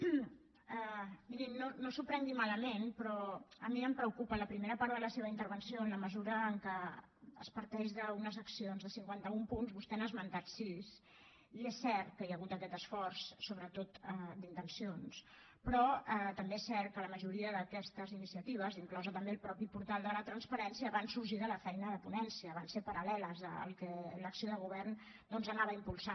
miri no s’ho prengui malament però a mi em preocupa la primera part de la seva intervenció en la mesura que es parteix d’unes accions de cinquanta un punts vostè n’ha esmentat sis i és cert que hi ha hagut aquest esforç sobretot d’intencions però també és cert que la majoria d’aquestes iniciatives inclòs també el mateix portal de la transparència van sorgir de la feina de ponència van ser paral·leles al que l’acció de govern doncs anava impulsant